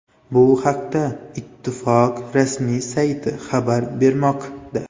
Bu haqda ittifoq rasmiy sayti xabar bermoqda .